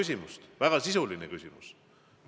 See on väga sisuline küsimus.